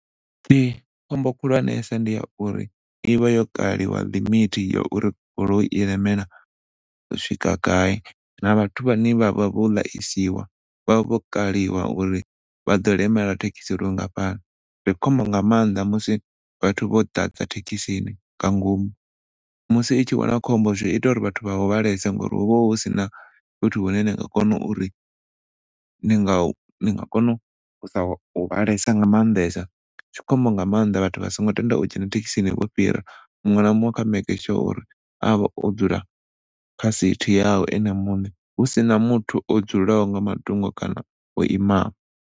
Khombo khulwanesa ndi ya uri ivha yo kaliwa limit ya uri goloi i lemela u swika gai na vhathu vhane vhavha vho ḽasiwa vha vho kaliwa uri vhaḓo lemela thekhisi lwu ngafhani. Ndi khombo nga maanḓa musi vhathu vho ḓadza thekhisi ngomu musi i tshi wana khombo zwi ita uri vhathu vha hu vhalese ngauri hu vha hu sina fhethu hune na nga kona uri ni nga kona nga maanḓesa, zwi khombo nga maanḓesa vhathu vha songo tenda u dzhena thekhisini vho fhira muṋwe na muṅwe kha make sure uri a vhe o dzula kha sithi yawe ene muṋe hu sina muthu o dzulaho nga matungo kana o imaho.